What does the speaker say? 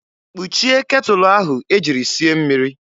Kpuchie ketụlụ ahụ e jiri sie mmiri!